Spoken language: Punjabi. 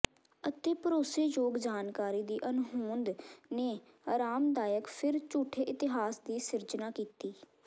ਅਤੇ ਭਰੋਸੇਯੋਗ ਜਾਣਕਾਰੀ ਦੀ ਅਣਹੋਂਦ ਨੇ ਅਰਾਮਦਾਇਕ ਫਿਰ ਝੂਠੇ ਇਤਿਹਾਸ ਦੀ ਸਿਰਜਣਾ ਕੀਤੀ